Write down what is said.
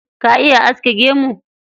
Ka iya aske gemu?